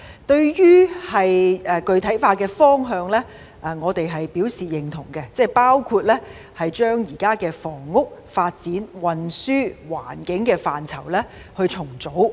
對於具體化的方向，我們表示認同，包括將現時房屋、發展、運輸及環境政策範疇重組。